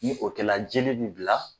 Ni o kɛ la jeli bɛ bila.